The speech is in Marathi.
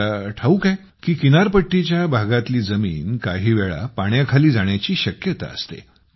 आपल्याला ठाऊक आहे की किनारपट्टीच्या भागातील जमीन काही वेळा पाण्याखाली जाण्याची शक्यता असते